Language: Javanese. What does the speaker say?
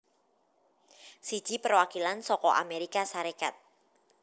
Siji Perwakilan saka Amérika Sarékat